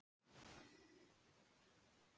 Hann gengur að glugganum.